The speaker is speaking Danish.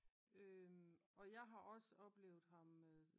Og jeg har også oplevet ham